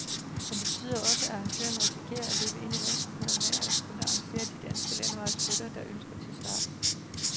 Men det betyder også, at arrangørerne risikerer at løbe ind i vanskeligheder med at kunne engagere de danske landevejsryttere, der ønskes til start.